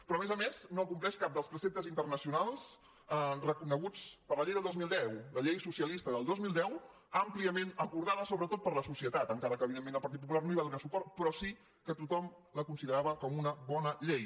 però a més a més no compleix cap dels preceptes internacionals reconeguts per la llei del dos mil deu la llei socialista del dos mil deu àmpliament acordada sobretot per la societat encara que evidentment el partit popular no hi va donar suport però sí que tothom la considerava com una bona llei